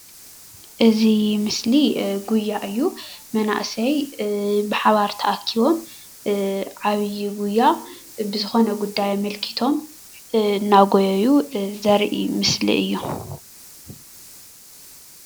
እዚ ምስሊ ጉያ እዩ:: መናእሰይ ብሓባር ተኣኪቦም ዓብዪ ጉያ ብዝኾነ ጉዳይ ኣመልኪቶም እናጎየዩ ዘርኢ ምስሊ እዩ::